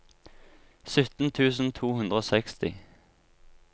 sytten tusen to hundre og seksti